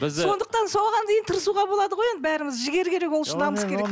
сондықтан соған дейін тырысуға болады ғой енді бәріңіз жігер керек ол үшін намыс керек